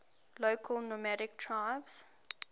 local nomadic tribes